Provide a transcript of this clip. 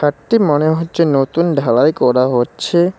মনে হচ্ছে নতুন ঢালাই করা হচ্ছে।